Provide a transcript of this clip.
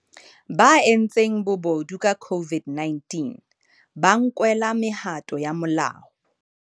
Ba entseng bobodu ka COVID-19 ba nkelwa mehato ya molao